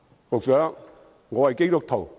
局長，我是基督徒。